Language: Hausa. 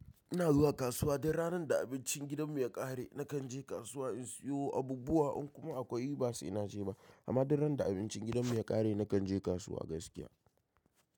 Ina zuwa kasuwa dur ranar da abincin gidanmu ya ƙare. Nakan je kasuwa in siyo abubuwa in kuma akwai basai na je ba. Amma don ran da abincin gidanmu ya ƙare nakan je kasuwa gaskiya.